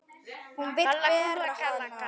Hún vill bera hana.